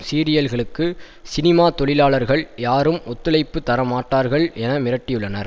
சீரியல்களுக்கு cinema தொழிலாளர்கள் யாரும் ஒத்துழைப்பு தரமாட்டார்கள் என மிரட்டியுள்ளனர்